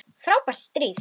Frábært stríð!